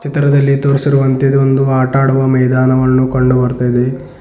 ಚಿತ್ರದಲ್ಲಿ ತೋರಿಸಿರುವಂತೆ ಇದು ಒಂದು ಆಟ ಆಡುವ ಮೈದಾನವನ್ನು ಕಂಡು ಬರ್ತಾ ಇದೆ.